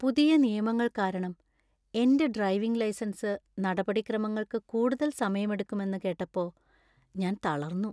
പുതിയ നിയമങ്ങൾ കാരണം എന്‍റെ ഡ്രൈവിംഗ് ലൈസൻസ് നടപടിക്രമങ്ങൾക്ക് കൂടുതൽ സമയമെടുക്കുമെന്ന് കേട്ടപ്പോ ഞാന്‍ തളര്‍ന്നു.